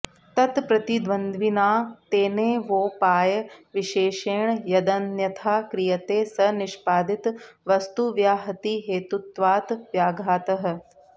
तत्प्रतिद्वन्द्विना तेनेवोपायविशेषेण यदन्यथा क्रियते स निष्पादित वस्तुव्याहतिहेतुत्वात् व्याघातः